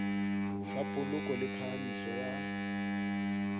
sa poloko le phahamiso ya